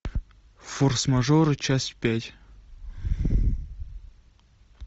форс мажоры часть пять